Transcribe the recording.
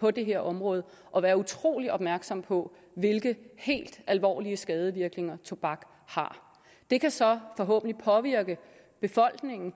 på det her område og være utrolig opmærksom på hvilke helt alvorlige skadevirkninger tobak har det kan så forhåbentlig påvirke befolkningen